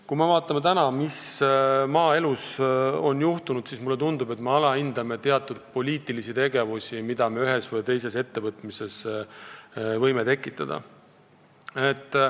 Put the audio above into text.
Kui me vaatame, mis on maaeluga juhtunud, siis mulle tundub, et me alahindame teatud poliitilisi tegevusi, mis võivad üht või teist ettevõtmist mõjutada.